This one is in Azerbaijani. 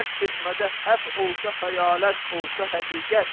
Rəqs etmədə həp olsa xəyalət, olsa həqiqət.